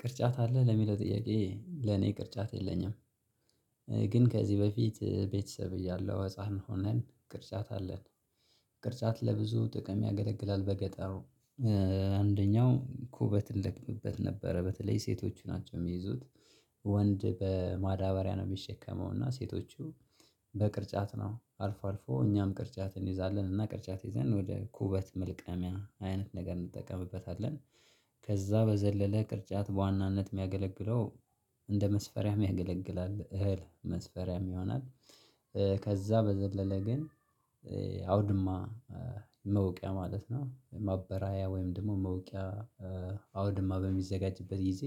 ቅርጫት አለ ለሚለው ጥያቄ ለኔ ቅርጫት የለኝም። ግን ከዚህ በፊት ቤተሰብ እያለሁ ህፃን ሆነን ቅርጫት አለን። ቅርጫት ለብዙ ጥቅም ያገለግላል በገጠሩ። አንደኛው ኩበት እንለቅምበት ነበረ በተለይ ሴቶቹ ናቸው የሚይዙት። ወንድ በማዳበሪያ ነው የሚሸከመው እና ሴቶቹ በቅርጫት ነው አልፎ አልፎ እኛም ቅርጫት እንይዛለን እና ቅርጫት ይዘን ወደ ኩበት መልቀሚያ አይነት ነገር እንጠቀምበታለን። ከዛ በዘለለ ቅርጫት በዋናነት የሚያገለግለው እንደ መስፈሪያም ያገለግላል እህል መስፈሪያም ይሆናል። ከዛ በዘለለ ግን አውድማ መውቂያ ማለት ነው ማበራያ ወይም ደግሞ መውቂያ አውድማ በሚዘጋጅበት ጊዜ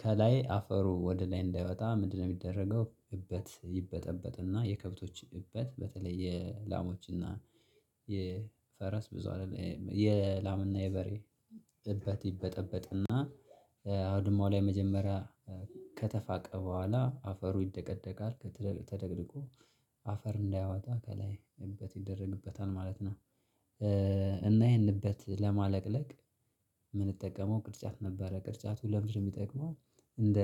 ከላይ አፈሩ ወደ ላይ እንዳይወጣ ምንድነው? የሚደረገው እበት ይበጠበጥና የከብቶች እበት በተለይ የላሞችና የፈረስ ብዙ አይደለም የላምና የበሬ እበት ይበጠበጥና አውድሟ ላይ መጀመሪያ ከተፋቀ በኋላ አፈሩ ይደቀደቃል ተደቅድቆ አፈር እንዳያወጣ ከላይ እበት ይደረግበታል ማለት ነው። እና ይሄን እበት ለማለቅለቅ የምንጠቀመው ቅርጫት ነበረ ቅርጫቱ ለምንድን ነው የሚጠቅመው? እንደ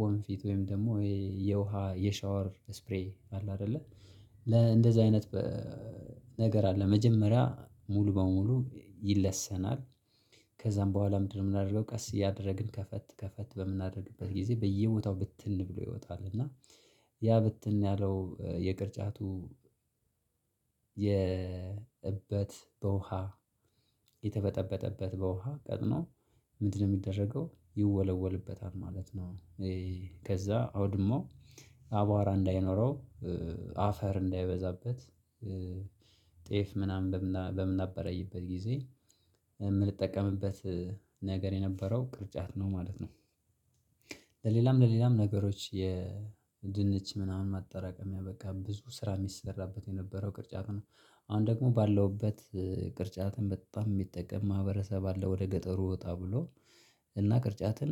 ወንፊት ወይም ደግሞ ይሄ የውሃ የሻወር ስፕሬይ አለ አይደለ ለ እንደዚህ አይነት ነገር አለ መጀመሪያ ሙሉ በሙሉ ይለሰናል። ከዛም በኋላ ምንድነው? የምናደርገው ቀስ እያደረግን ከፈት ከፈት በምናደርግበት ጊዜ በየቦታው ብትን ብሎ ይወጣል እና ያ ብትን ያለው የቅርጫቱ የእበት በውሃ የተበጠበጠበት በውሃ ቀጥኖ ምንድነው የሚደረገው ይወለወልበታል ማለት ነው። ከዛ አውድማው አቧራ እንዳይኖረው አፈር እንዳይበዛበት ጤፍ ምናምን በምናበረይበት ጊዜ የምንጠቀምበት ነገር የነበረው ቅርጫት ነው ማለት ነው። ለሌላም ለሌላም ነገሮች የድንች ምናምን ማጠራቀሚያ በቃ ብዙ ስራ የሚሰራበት የነበረው ቅርጫት ነው። አሁን ደግሞ ባለውበት ቅርጫትን በጣም የሚጠቀም ማህበረሰብ አለ ወደ ገጠሩ ወጣ ብሎ እና ቅርጫትን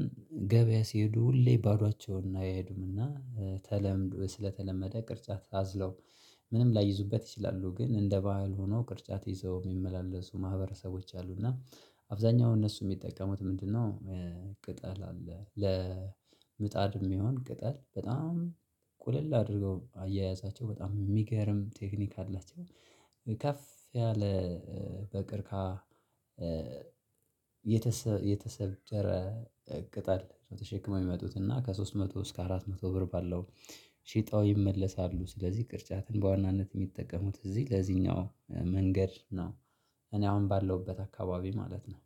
ገበያ ሲሄዱ ሁሌ ባዶአቸውን አይሄዱምና ተለምዶ ስለተለመደ ቅርጫት አዝለው ምንም ላይይዙበት ይችላሉ። ግን እንደ ባህል ሆኖ ቅርጫት ይዘው የሚመላለሱ ማህበረሰቦች አሉ እና አብዛኛው እነሱ የሚጠቀሙት ምንድነው? ቅጠል አለ ለምጣድ የሚሆን ቅጠል በጣም ቁልል አድርገው አያያዛቸው በጣም የሚገርም ቴክኒክ አላቸው። ከፍ ያለ በቅርካ የተሰደረ ቅጠል ተሸክመው የሚመጡት እና ከሶስት መቶ እስከ አራት መቶ ብር ባለው ሺጠው ይመለሳሉ ስለዚህ ቅርጫትን በዋናነት የሚጠቀሙት እዚህ ለዚኛው መንገድ ነው። እኔ አሁን ባለሁበት አከባቢ ማለት ነው።